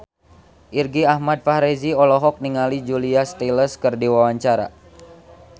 Irgi Ahmad Fahrezi olohok ningali Julia Stiles keur diwawancara